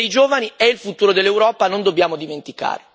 Il futuro dei giovani è il futuro dell'Europa, non dobbiamo dimenticarlo.